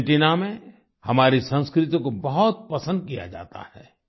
Argentina में हमारी संस्कृति को बहुत पसंद किया जाता है